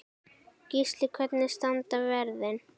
Gísli: Hvernig standa verðin?